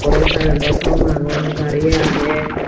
aro currento thom agon gari agey.